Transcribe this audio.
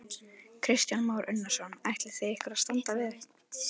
Kristján Már Unnarsson: Ætlið þið ykkur að standa við það?